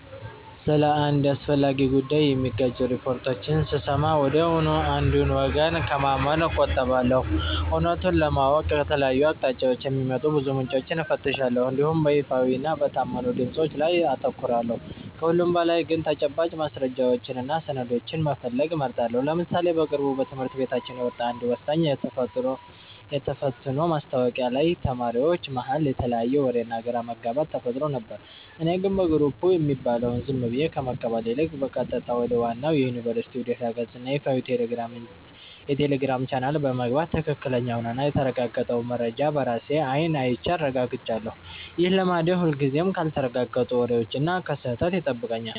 ስለ አንድ አስፈላጊ ጉዳይ የሚጋጩ ሪፖርቶችን ስሰማ ወዲያውኑ አንዱን ወገን ከማመን እቆጠባለሁ። እውነቱን ለማወቅ ከተለያዩ አቅጣጫዎች የሚወጡ ብዙ ምንጮችን እፈትሻለሁ እንዲሁም በይፋዊና በታመኑ ድምፆች ላይ አተኩራለሁ። ከሁሉም በላይ ግን ተጨባጭ ማስረጃዎችንና ሰነዶችን መፈለግ እመርጣለሁ። ለምሳሌ በቅርቡ በትምህርት ቤታችን የወጣ አንድ ወሳኝ የተፈትኖ ማስታወቂያ ላይ ተማሪዎች መሃል የተለያየ ወሬና ግራ መጋባት ተፈጥሮ ነበር። እኔ ግን በየግሩፑ የሚባለውን ዝም ብዬ ከመቀበል ይልቅ፣ በቀጥታ ወደ ዋናው የዩኒቨርሲቲው ድረ-ገጽና ይፋዊ የቴሌግራም ቻናል በመግባት ትክክለኛውንና የተረጋገጠውን መረጃ በራሴ አይን አይቼ አረጋግጫለሁ። ይህ ልማዴ ሁልጊዜም ካልተረጋገጡ ወሬዎችና ከስህተት ይጠብቀኛል።